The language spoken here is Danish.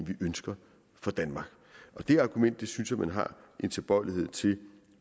vi ønsker for danmark og det argument synes jeg man har en tilbøjelighed til